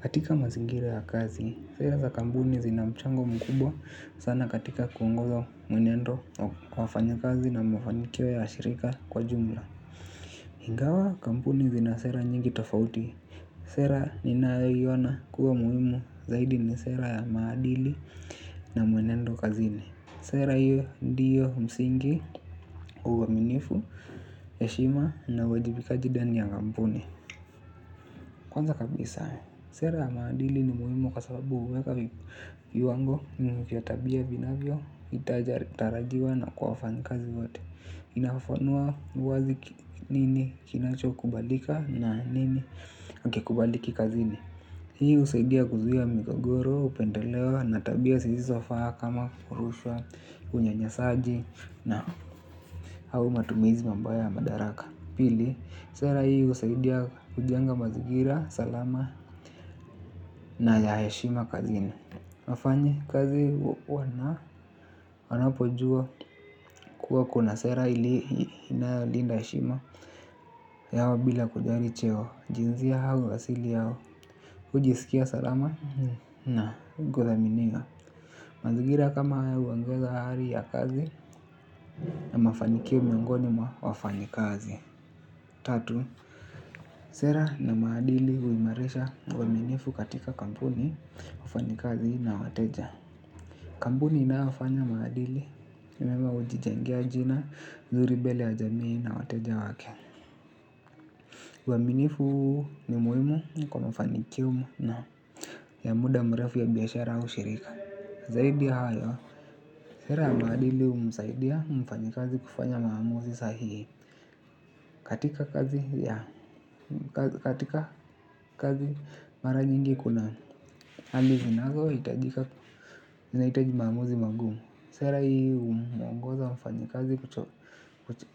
Katika mazingira ya kazi, sera za kampuni zina mchango mkubwa sana katika kuongoza mwenendo kwa wafanyikazi na mafanikio ya shirika kwa jumla. Ingawa kampuni zina sera nyingi tofauti. Sera ni ninayoiona kuwa muhimu zaidi ni sera ya maadili na mwenendo kazini. Sera hiyo ndio msingi uwaminifu heshima na uwajibikaji ndani ya kampuni. Kwanza kabisa, sera ya maadili ni muhimu kwa sababu huweka viwango vya tabia vinavyo, tarajiwa na kwa wafanyikazi wote. Inafafanua wazi nini kinacho kubalika na nini akikubaliki kazini. Hii husaidia kuzuia migogoro, upendeleo, na tabia zilizofaa kama kurushwa, unyanyasaji na au matumizi mabaya ya madaraka. Pili, sera hii usaidia kujenga mazingira, salama na ya heshima kazini. Mafanyikazi wana, wana pojua kuwa kuna sera ili inayolinda heshima Yawa bila kujali cheo, jinsia hawa, wasili hawa, hujisikia salama na guza miniga. Mazingira kama haya huongeza hari ya kazi na mafanikio miongoni mwa wafanyi kazi. Tatu. Sera na maadili huimarisha waaminifu katika kampuni kufanyikazi na wateja. Kampuni inayofanya maadili mema hujijengea jina nzuri mbele ya jamii na wateja wake uaminifu ni muhimu niko mafanikio na ya muda mrefu ya biashara au shirika. Zaidi hayo sera ya maadili humsaidia mfanyikazi kufanya maamuzi sahihi. Katika kazi ya katika kazi mara nyingi kuna hali zinazo hitajika zinahitaji maamuzi magumu. Sera hii umwongoza mfanyikazi